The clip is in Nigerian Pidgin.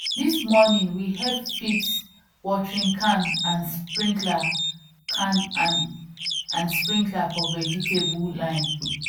this morning we help fix watering can and sprinkler can and sprinkler for vegetable line